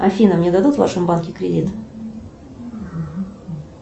афина мне дадут в вашем банке кредит